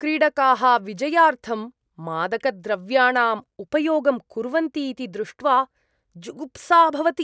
क्रीडकाः विजयार्थं मादकद्रव्याणाम् उपयोगं कुर्वन्ति इति दृष्ट्वा जुगुप्सा भवति।